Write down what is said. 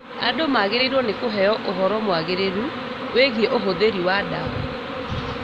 Andũ nĩmagĩrĩirwo nĩ kũheo ũhoro mwagĩrĩru wĩgiĩ ũhũthĩri wa ndawa